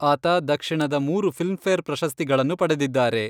ಆತ ದಕ್ಷಿಣದ ಮೂರು ಫಿಲ್ಮ್ಫೇರ್ ಪ್ರಶಸ್ತಿಗಳನ್ನು ಪಡೆದಿದ್ದಾರೆ.